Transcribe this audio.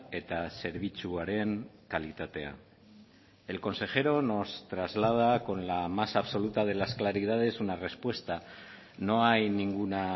eta zerbitzuaren kalitatea el consejero nos traslada con la más absoluta de las claridades una respuesta no hay ninguna